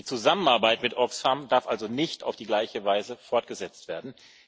Die Zusammenarbeit mit Osfam darf also nicht auf die gleiche Weise fortgesetzt werden